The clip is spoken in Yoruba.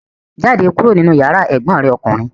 Jáde kúrò nínú yàrá ẹ̀gbọ́n rẹ̀ ọkùnrin!